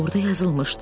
Orada yazılmışdı: